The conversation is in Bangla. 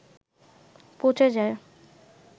পচে যায়